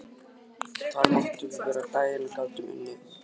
Þar máttum við vera á daginn og gátum unnið að vild.